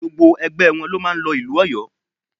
Gbogbo ẹgbẹ wọn ló máa lọ ìlú Ọ̀yó